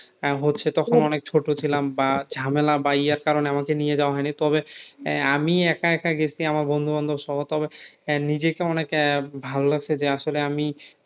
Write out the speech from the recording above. আহ হচ্ছে তখন অনেক ছোট ছিলাম বা ঝামেলা বা ইয়ার কারণে আমাকে নিয়ে যাওয়া হয়নি তবে আহ আমি একা একা গেছি আমার বন্ধুবান্ধবসহ তবে আহ নিজেকে অনেক আহ ভালো লাগছে যে আসলে আমি